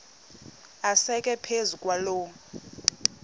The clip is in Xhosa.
asekwe phezu kwaloo